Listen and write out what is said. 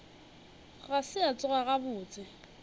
ga se a tsoga gabotse